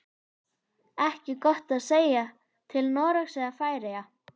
Ekki gott að segja, til Noregs eða Færeyja.